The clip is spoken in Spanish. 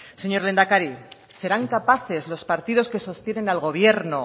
señor lehendakari serán capaces los partidos que sostienen al gobierno